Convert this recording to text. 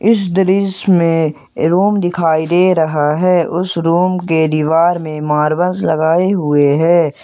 इस दृश्य में रुम दिखाई दे रहा है उस रूम के दीवार में मार्बल्स लगाए हुए हैं।